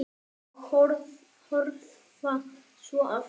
Og horfa svo aftur.